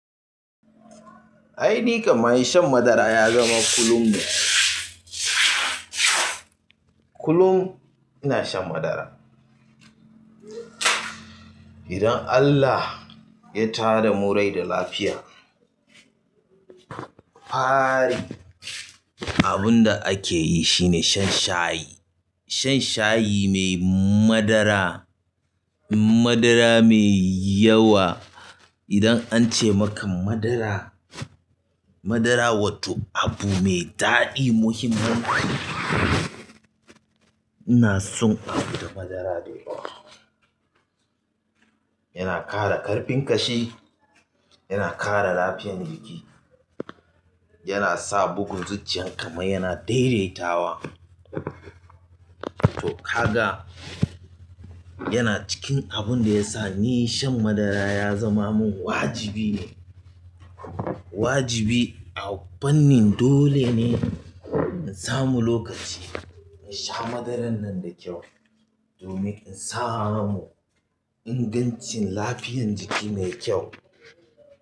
Aini kam ma shan madara ya zama kullum ne. Kullum ina shan madara. Idan Allah ya tada mu rai da lafiya, fari abun da ake yi shine shan shayi. Shan shayi mai madara, madara mai yawa. Idan an ce maka madara, madara wato abu mai daɗi muhimman. Ina son abun da madara yake yi. Yana ƙara ƙarfin ƙashi, yana ƙara lafiyan jiki, yana sa bugun zuciyan kamar yana daidaitawa. To kaga, yana cikin abun da ya sa ni shan madara ya zama min wajibi ne. Wajibi a fannin dole ne in samu lokaci in sha madaran nan da kyau domin in samu ingancin lafiyan jiki mai kyau.